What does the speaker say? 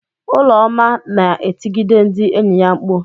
Ụlọma na-etigide ndị enyi ya mkpu.